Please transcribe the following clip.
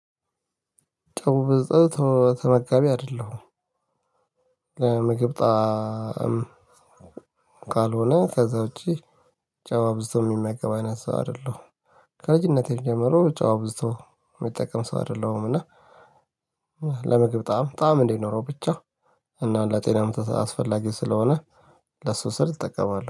ጨው በጸጥ ተመጋቢ አይደለሁም ለምግብ ጣዕም ካልሆነ ከዛ ውጪ ጨው አብዝቶ የሚመገብ አይነት ሰው አይደለሁም። ከልጅነቴ ጀምሮ ጨው አብዝቶ የሚጠቀም ሰው አይደለሁምና። ለምግብ ጣዕም ጣዕም እንድኖረው ብቻ እና ለጤናማ አስፈላጊ ስለሆነ ለሱ ስል እጠቀማለሁ